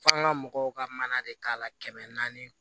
F'an ga mɔgɔw ka mana de k'a la kɛmɛ naani